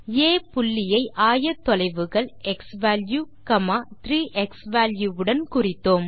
ஆ புள்ளியை ஆயத்தொலைவுகள் x value 3 x value உடன் குறித்தோம்